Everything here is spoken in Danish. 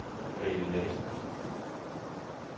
Grethe Lassen